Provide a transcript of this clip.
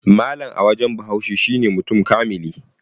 Mallam a wajen Bahaushe shine mutum kamili